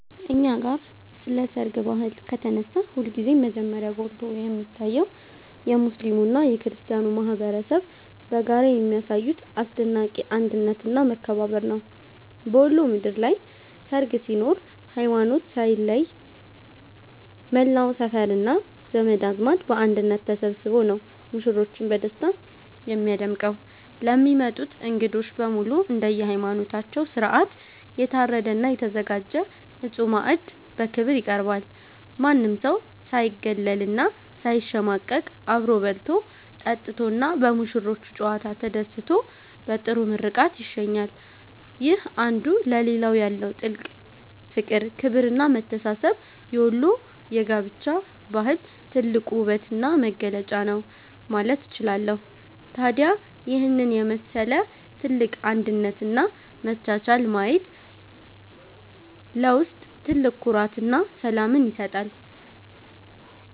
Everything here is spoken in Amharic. እኛ ጋ ስለ ሰርግ ባህል ከተነሳ ሁልጊዜም መጀመሪያ ጎልቶ የሚታየው የሙስሊሙና የክርስቲያኑ ማኅበረሰብ በጋራ የሚያሳዩት አስደናቂ አንድነትና መከባበር ነው። በወሎ ምድር ላይ ሰርግ ሲኖር ሃይማኖት ሳይለይ መላው ሰፈርና ዘመድ አዝማድ በአንድነት ተሰብስቦ ነው ሙሽሮችን በደስታ የሚያደምቀው። ለሚመጡት እንግዶች በሙሉ እንደየሃይማኖታቸው ሥርዓት የታረደና የተዘጋጀ ንጹሕ ማዕድ በክብር ይቀርባል። ማንም ሰው ሳይገለልና ሳይሸማቀቅ አብሮ በልቶ፣ ጠጥቶና በሙሽሮቹ ጨዋታ ተደስቶ በጥሩ ምርቃት ይሸኛል። ይህ አንዱ ለሌላው ያለው ጥልቅ ፍቅር፣ ክብርና መተሳሰብ የወሎ የጋብቻ ባህል ትልቁ ውበትና መገለጫ ነው ማለት እችላለሁ። ታዲያ ይህንን የመሰለ ትልቅ አንድነትና መቻቻል ማየት ለውስጥ ትልቅ ኩራትና ሰላምን ይሰጣል።